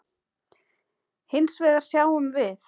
Hins vegar sjáum við